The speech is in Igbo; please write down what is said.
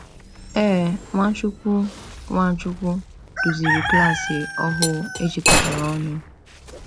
Ee, Nwachukwu Nwachukwu duziri klas ohu ejikọtara ọnụ.